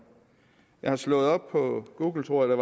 jeg har slået op på google tror jeg